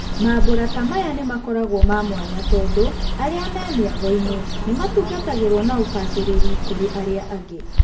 Mambũra ta maya nĩmakoragwo ma mwanya tondũ arĩa me mĩagoinĩ nĩmatungatagĩrwo na ũbacĩrĩru kũri arĩa angĩ.